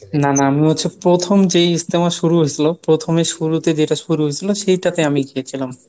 না না আমি হচ্ছে প্রথম যে ইজতেমা শুরু হয়েছিল প্রথমে শুরুতে যেটা শুরু হয়েছিল সেটাতে আমি গিয়েছিলাম।